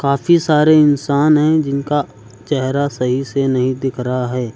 काफी सारे इंसान हैं जिनका चेहरा सही से नहीं दिख रहा है।